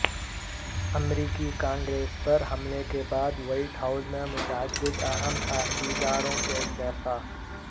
امریکی کانگریس پر حملے کے بعد وہائٹ ہائوس میں متعدد اہم عہدیدار وں کے استعفے